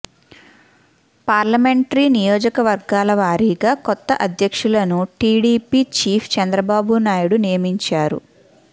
parliamentary నియోజకవర్గాల వారీగా కొత్త అధ్యక్షులను టీడీపీ చీఫ్ చంద్రబాబునాయుడు నియమించారు